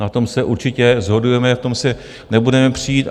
Na tom se určitě shodujeme, v tom se nebudeme přít.